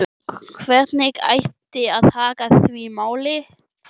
Og hvernig ætti að haga því máli?